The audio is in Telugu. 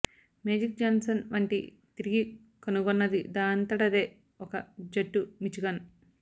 మేజిక్ జాన్సన్ వంటి తిరిగి కనుగొన్నది దానంతటదే ఒక జట్టు మిచిగాన్